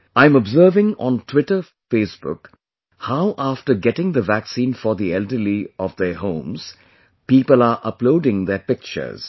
I am observing on Twitter Facebook how after getting the vaccine for the elderly of their homes people are uploading their pictures